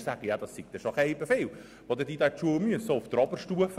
Diese sagen, es seien schon sehr viele Schulstunden, auch auf der Oberstufe.